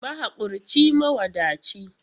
Mahakurci, mawadaci.